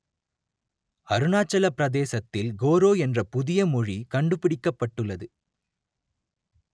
அருணாச்சலப் பிரதேசத்தில் கோரோ என்ற புதிய மொழி கண்டுபிடிக்கப்பட்டுள்ளது